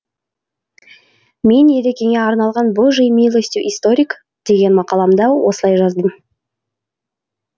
мен ерекеңе арналған божьей милостью историк деген мақаламда осылай жаздым